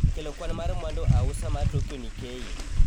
kelo kwan mar mwandu ausa mar Tokyo Nikkei